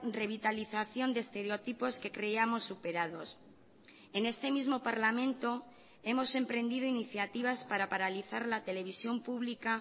revitalización de estereotipos que creíamos superados en este mismo parlamento hemos emprendido iniciativas para paralizar la televisión pública